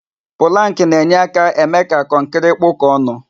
Pụlank na-enye aka eme ka kọnkri kpụkọ ọnụ.